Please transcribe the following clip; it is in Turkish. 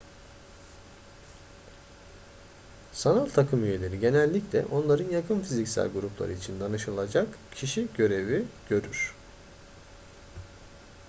sanal takım üyeleri genellikle onların yakın fiziksel grupları için danışılacak kişi görevi görür